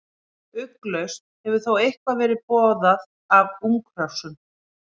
Ugglaust hefur þó eitthvað verið borðað af unghrossum.